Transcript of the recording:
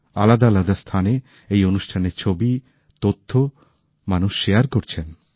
আলাদা আলাদা স্থানে এই অনুষ্ঠানের ছবি তথ্য মানুষ শেয়ার করছেন